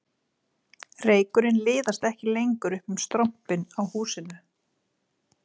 Reykurinn liðast ekki lengur upp um strompinn á húsinu